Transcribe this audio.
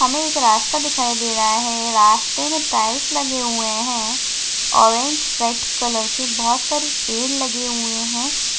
हमे एक रास्ता दिखाई दे रहा है रास्ते मे टाइल्स लगे हुए है ऑरेंज रेड कलर के बहुत सारे पेड़ लगे हुए है।